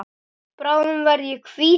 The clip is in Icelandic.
Bráðum verð ég hvítur.